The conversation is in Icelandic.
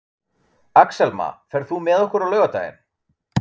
Axelma, ferð þú með okkur á laugardaginn?